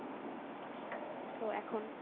তো এখন